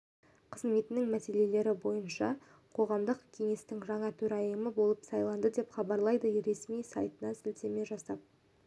қызметінің мәселелері бойынша қоғамдық кеңестің жаңа төрайымы болып сайланды деп хабарлайды ресми сайтына сілтеме жасап